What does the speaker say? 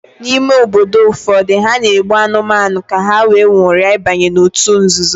n'ime obodo ụfọdụ, ha na-egbu anụmanụ ka ha wee nwuria ibanye n'òtù nzuzo